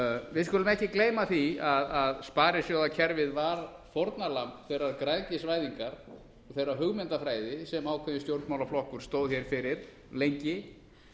við skulum ekki gleyma því að sparisjóðakerfið var fórnarlamb þeirrar græðgisvæðingar og þeirrar hugmyndafræði sem ákveðinn stjórnmálaflokkur stóð hér fyrir lengi